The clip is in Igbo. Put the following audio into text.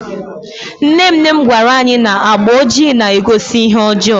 nne nne m gwara anyi na agba ojii na-egosi ihe ọjọọ